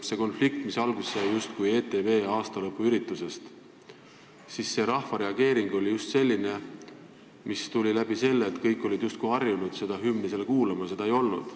Rahva reageeringud sellele konfliktile, mis sai justkui alguse ETV aastalõpuüritusest, olid just sellised, et kõik olid harjunud seal hümni kuulma, aga siis seda ei olnud.